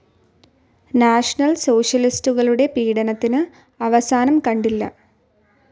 National സോഷ്യലിസ്റ്റുകളുടെ പീഡനത്തിന് അവസാനം കണ്ടില്ല.